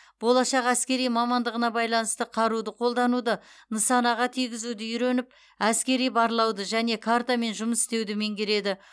болашақ әскери мамандығына байланысты қаруды қолдануды нысанаға тигізуді үйреніп әскери барлауды және картамен жұмыс істеуді меңгереді